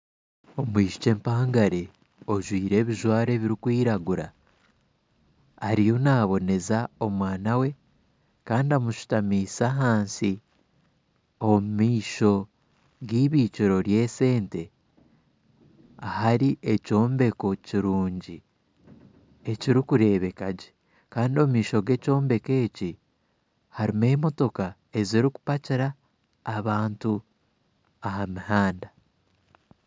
Omwishiki empangare ojwaire ebijwaro ebirikwiragura ariyo naboneza omwana we Kandi amishutamiise ahansi omu maisho g'eibikiro ry'esente ahari ekyombeko kirungi ekirikureebeka gye Kandi omu maisho g'ekyombeko harimu emotooka ezirikupakira abantu aha muhanda